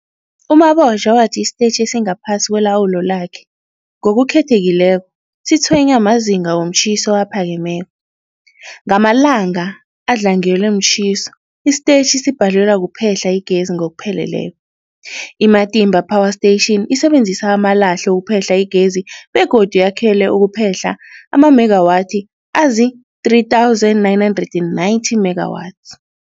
U-Mabotja wathi isitetjhi esingaphasi kwelawulo lakhe, ngokukhethekileko, sitshwenywa mazinga womtjhiso aphakemeko. Ngamalanga adlangelwe mtjhiso, isitetjhi sibhalelwa kuphehla igezi ngokupheleleko. I-Matimba Power Station isebenzisa amalahle ukuphehla igezi begodu yakhelwe ukuphehla amamegawathi azii-3990 megawatts.